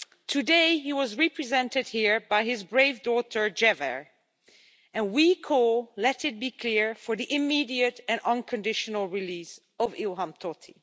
Today he was represented here by his brave daughter, Jewher, and we call let it be clear for the immediate and unconditional release of Ilham Tohti.